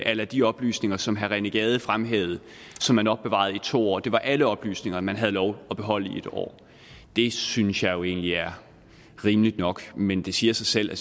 a la de oplysninger som herre rené gade fremhævede som man opbevarede i to år men det var alle oplysninger man havde lov at beholde i en år det synes jeg jo egentlig er rimeligt nok men det siger sig selv at